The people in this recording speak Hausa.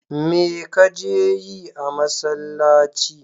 Me ka je yi a masallci?